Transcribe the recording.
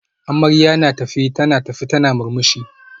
Amarya na tafe tana tafe tana murmushi